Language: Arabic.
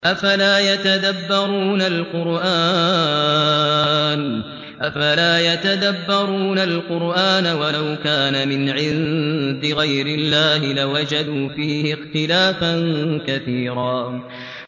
أَفَلَا يَتَدَبَّرُونَ الْقُرْآنَ ۚ وَلَوْ كَانَ مِنْ عِندِ غَيْرِ اللَّهِ لَوَجَدُوا فِيهِ اخْتِلَافًا كَثِيرًا